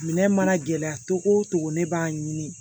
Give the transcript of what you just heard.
Minɛn mana gɛlɛya cogo o cogo ne b'a ɲini